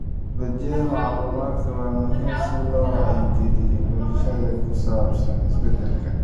Tiknoolajiyadda macluumaadka waa muhiim si loo wacyigeliyo bulshada ku saabsan isbedelka.